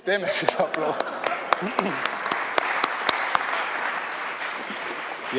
Teeme siis aplausi.